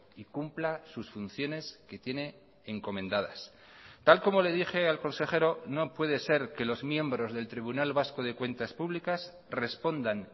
y cumpla sus funciones que tiene encomendadas tal como le dije al consejero no puede ser que los miembros del tribunal vasco de cuentas públicas respondan